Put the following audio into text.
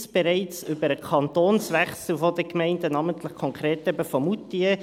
Dieses Gesetz über den Kantonswechsel gibt es bereits, namentlich kam es eben konkret in Moutier zur Anwendung.